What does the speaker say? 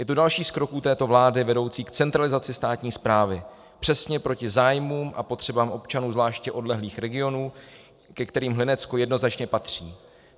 Je to další z kroků této vlády vedoucí k centralizaci státní správy, přesně proti zájmům a potřebám občanů zvláště odlehlých regionů, ke kterým Hlinecko jednoznačně patří.